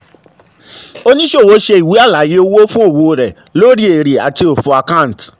oníṣòwò ṣe ìwé àlàyé owó fún òwò rẹ̀ lórí èrè àti òfò a/c